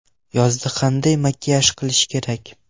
Yozda qanday makiyaj qilish kerak?.